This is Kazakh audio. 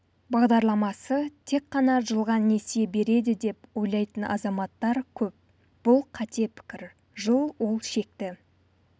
бағдарламасы тек қана жылға несие береді деп ойлайтын азаматтар көп бұл қате пікір жыл ол шекті